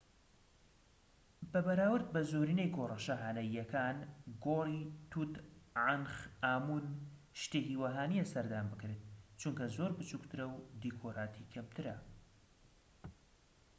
بە بەراورد بە زۆرینەی گۆڕە شاهانەییەکان گۆڕی توت عەنخ ئامون شتێکی وەها نیە سەردان بکرێت چونکە زۆر بچوکترە و دیکۆراتی کەمترە